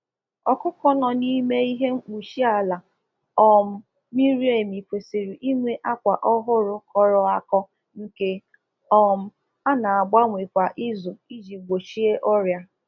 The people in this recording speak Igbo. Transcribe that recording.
Ụmụ um ọkụkọ ndi um eji usoro dip lita azụ kwesịrị ka a na ekpocha ụlọ ha kwa izu maka mgbochi um ọrịa